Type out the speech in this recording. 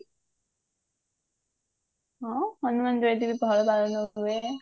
ହଁ ହନୁମାନ ଜୟନ୍ତୀ ବି ପଳା ପାଳନ ହୁଏ